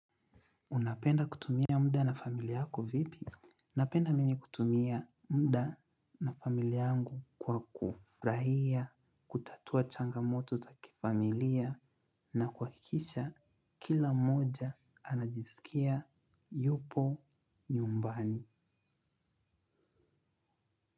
Unapenda kutumia muda na familia yako vipi? Napenda mimi kutumia muda na familia yangu kwa kufurahia kutatua changamoto za kifamilia na kuhakikisha kila mmoja anajisikia yupo nyumbani.